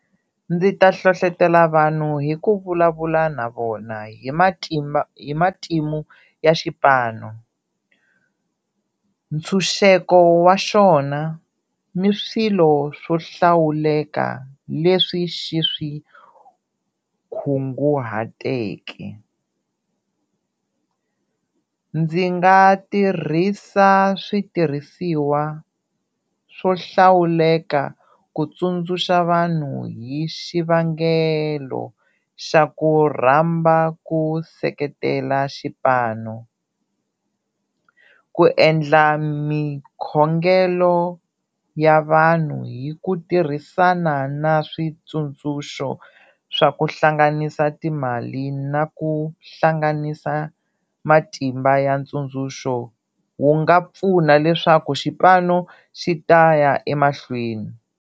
Ndzi ta hlohletela vanhu hi ku vulavula na vona hi hi matimu ya xipano, ntshunxeko wa xona ni swilo swo hlawuleka leswi xi swi kunguhateke. Ndzi nga tirhisa switirhisiwa swo hlawuleka ku tsundzuxa vanhu hi xivangelo xa ku rhamba ku seketela xipano, ku endla mikhongelo ya vanhu hi ku tirhisana na switsundzuxo swa ku hlanganisa timali na ku hlanganisa matimba ya ntsundzuxo wu nga pfuna leswaku xipano xi ta ya emahlweni.